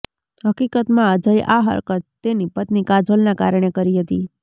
હકીકતમાં અજયે આ હરકત તેની પત્ની કાજોલના કારણે કરી હતી